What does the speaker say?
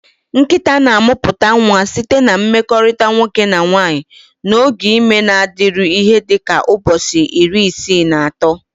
Nkịta na-amụpụta nwa site na mmekorita nwoke na nwanyị, na oge ime na-adịru ihe dị ka ụbọchị iri isii na ato.